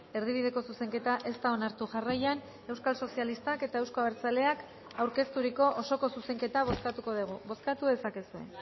erdibideko zuzenketa ez da onartu jarraian euskal sozialistak eta euzko abertzaleak aurkezturiko osoko zuzenketa bozkatuko dugu bozkatu dezakezue